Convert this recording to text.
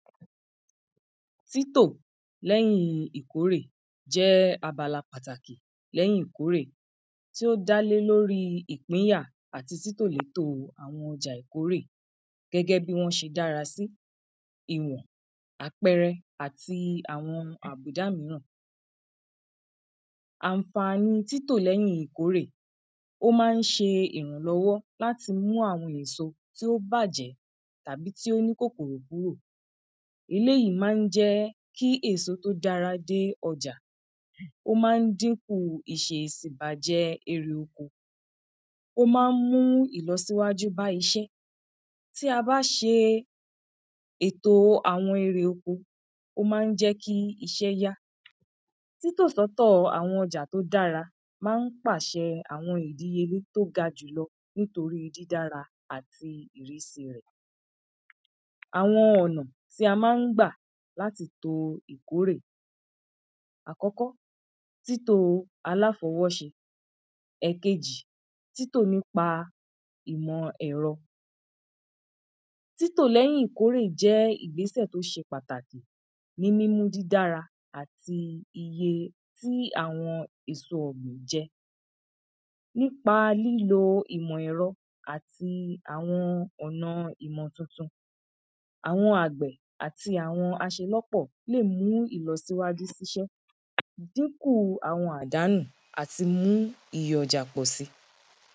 títò lẹ́yin ìkórè jẹ́ abala pàtàkì lẹ́yin ìkórè tí o dá lé lórí ìpínyà àti títò létò àwọn ọjà ìkórè gẹ́gẹ́ bí wọ́n ṣe dára sí, ìwọ̀n, àpẹrẹ àti àwọn àbùdá míràn àǹfàni títò lẹ́yin ìkórè ó ma ń ṣe ìrànlọ́wọ́ láti mú àwọn èso tí ó bàjẹ́ tàbí tí ó ní kòkòrò kúrò eléyìí ma ń jẹ́ kí èso tó dára dé ọjà, ó ma ń dínkù ìṣesí ìbàjẹ́ erè oko, ó ma ń mú ìlọsíwájú bá iṣẹ́ tí a bá ṣe èto àwọn erè oko, o ma ń jẹ́ kí iṣẹ́ yá, títò sí ọ̀tọ̀ àwọn ọjà tó dára ma ń pàṣẹ àwọn ìdíyelé tí ó ga jùlọ nítorí dídára àti ìrísí rẹ̀ àwọn ọ̀nà tí a ma ń gbà láti kó ìkórè, àkọ́kọ́, títò aláfọwọ́ ṣe, ẹ̀kejì, títò nípa ìmọ̀ ẹ̀rọ títò lẹ́yìn ìkórè jẹ́ ìgbésẹ̀ tó ṣe pàtàkì ní mímú dídára àti iye tí àwọn èso ọ̀gbìn jẹ nípa lílo ìmọ̀ ẹ̀rọ àti àwọn ọ̀nà ìmọ̀ titun, àwọn àgbẹ̀ àti àwọn aṣelọ́pọ̀ lè mú ìlọsíwájú síṣẹ́ díkù àwọn àdánù àti mú iye ọjà lù pọ̀ si